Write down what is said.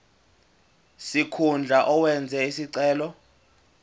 sikhundla owenze isicelo